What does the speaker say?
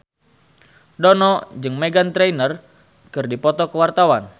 Dono jeung Meghan Trainor keur dipoto ku wartawan